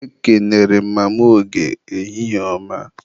Ekenere m Mama Oge, ehihie ọma